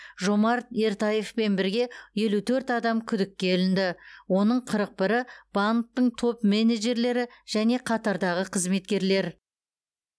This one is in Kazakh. жомарт ертаевпен бірге елу төрт адам күдікке ілінді оның қырық бірі банктің топ менеджерлері және қатардағы қызметкерлер